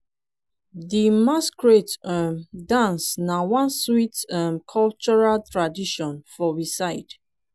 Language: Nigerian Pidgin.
di masquerade um dance na one sweet um cultural tradition for we side